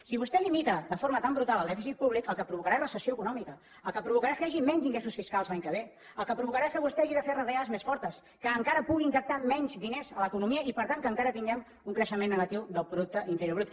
si vostè limita de forma tan brutal el dèficit públic el que provocarà és recessió econòmica el que provocarà és que hi hagi menys ingressos fiscals l’any que ve el que provocarà és que vostè hagi de fer retallades més fortes que encara pugui injectar menys diners a l’economia i per tant que encara tinguem un creixement negatiu del producte interior brut